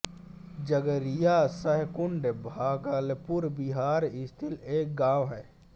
जगरिया सहकुंड भागलपुर बिहार स्थित एक गाँव है